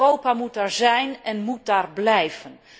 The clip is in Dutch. Europa moet daar zijn en moet daar blijven.